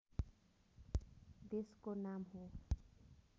देशको नाम हो